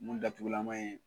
Mun datugulama ye.